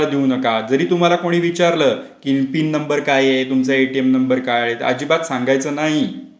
देऊ नका जरी तुम्हाला कोणी विचारलं कि पिन नंबर काय आहे? तुमचा एटीएम नंबर काय आहे ? तर अजिबात सांगायचं नाही.